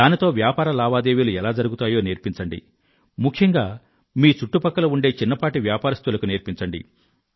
దానితో వ్యాపార లావాదేవీలు ఎలా జరుగుతాయో నేర్పించండి ముఖ్యంగా మీ చుట్టుపక్కల ఉండే చిన్నపాటి వ్యాపారస్తులకు నేర్పించండి